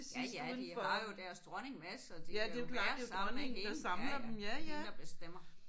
Ja ja de har jo deres dronning med så de er jo bare sammen med hende ja ja. Det er hende der bestemmer